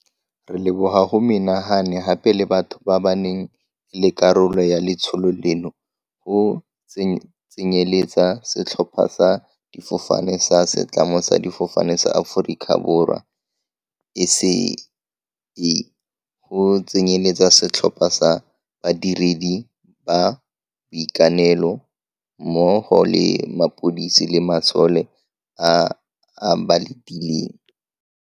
Re leboga go menagane gape le batho ba ba neng e le karolo ya letsholo leno, go tsenyeletsa setlhopha sa difofane sa Setlamo sa Difofane sa Aforika Borwa, SAA, go tsenyeletsa setlhopha sa badiredi ba boitekanelo mmo go le mapodisi le masole a a ba latileng.